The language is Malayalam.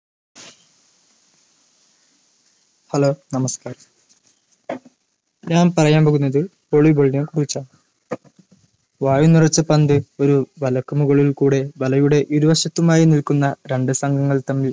Hello നമസ്കാരം ഞാൻ പറയാൻ പോകുന്നത് volley ball നെ കുറിച്ചാണ് വായു നിറച്ച പന്ത് ഒരു വലക്കുമുകളിൽ കൂടെ വലയുടെ ഇരുവശത്തുമായ് നിൽക്കുന്ന രണ്ട് സംഘങ്ങൾ തമ്മിൽ